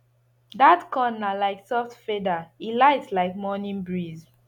dat corn na like soft feather e light like morning breeze